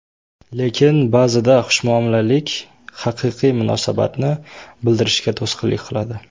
Lekin ba’zida xushmuomalalik haqiqiy munosabatni bildirishga to‘sqinlik qiladi.